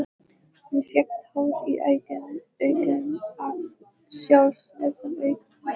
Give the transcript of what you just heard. Hún fékk tár í augun af sjálfsmeðaumkun.